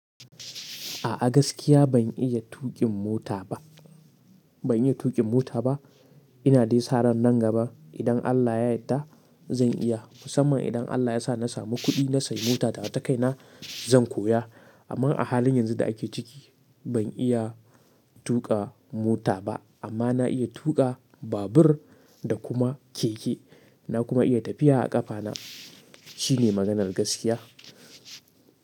A'a gaskiya ban iya tuƙin mota ba, ban iya tuƙin mota ba. Ina dai sa ran nan gaba, idan Allah ya yadda zan iya. Musamman idan Allah ya sa na samu kuɗi na sayi mota tawa takaina zan koya. Amma a halin yanzu da ake ciki, ban iya tuƙa mota ba. Amma na iya tuƙa babur da kuma keke. Na kuma iya tafiya a ƙafa na. Shine maganan gaskiya,